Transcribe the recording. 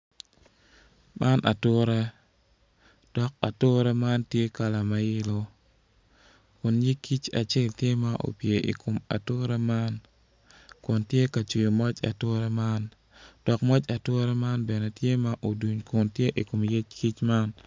Man ature dok ature man tye kala ma yelo kun nyig kic acel tye ma opye i kom ature man kun tye ka cwiyo moc ature man dok moc ature man bene tye ma oduny kun tye i kom nyig kic man